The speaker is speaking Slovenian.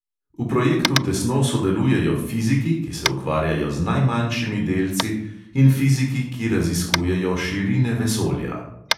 V projektu tesno sodelujejo fiziki, ki se ukvarjajo z najmanjšimi delci, in fiziki, ki raziskujejo širine vesolja.